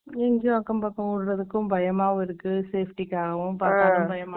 எங்கயும் அக்கம்பக்கம் விடுறதுக்கும், பயமாவும் இருக்கு, safety காகவும், பார்க்கவும் பயமா இருக்கு.